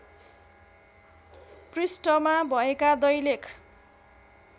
पृष्ठमा भएका दैलेख